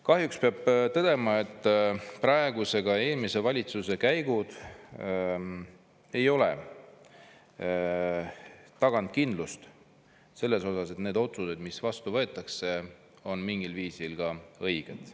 Kahjuks peab tõdema, et praeguse, ka eelmise valitsuse käigud ei ole taganud kindlust selles osas, et need otsused, mis vastu võetakse, on mingil viisil ka õiged.